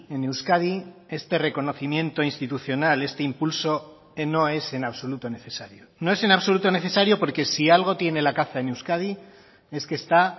en euskadi este reconocimiento institucional este impulso no es en absoluto necesario no es en absoluto necesario porque si algo tiene la caza en euskadi es que está